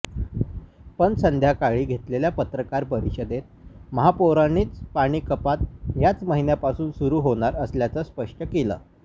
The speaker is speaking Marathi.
पण संध्याकाळी घेतलेल्या पत्रकार परिषदेत महापौरांनीच पाणीकपात याच महिन्यापासून सुरू होणार असल्याचं स्पष्ट केलं